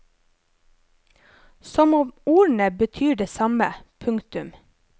Som om ordene betyr det samme. punktum